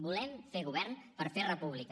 volem fer govern per fer república